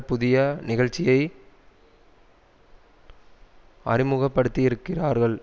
புதிய நிகழ்ச்சியை அறிமுகப்படுத்தியிருக்கிறார்கள்